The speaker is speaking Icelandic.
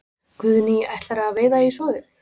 Guðný: Ætlarðu að veiða í soðið?